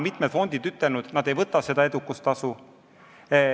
Mitmed fondid on öelnud, et nad ei võta edukustasu.